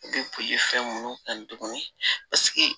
U bɛ bolifɛn minnu kan tuguni paseke